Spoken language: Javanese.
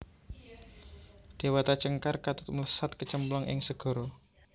Déwata Cengkar katut mlesat kecemplung ing segara